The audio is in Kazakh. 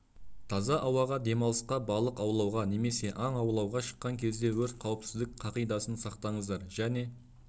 таза ауаға демалысқа балық аулауға немесе аң аулауға шыққан кезде өрт қауіпсіздік қағидасын сақтаңыздар және